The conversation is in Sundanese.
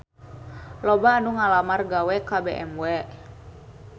Loba anu ngalamar gawe ka BMW